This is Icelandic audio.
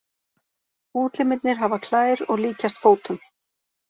Útlimirnir hafa klær og líkjast fótum.